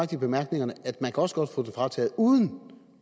i bemærkningerne at man også godt kan få den frataget uden